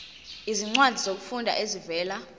izincwadi zokufunda ezivela